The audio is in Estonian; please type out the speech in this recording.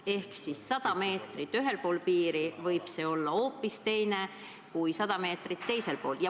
Ehk 100 meetrit ühel pool piiri võib see olla hoopis teine kui 100 meetrit teisel pool.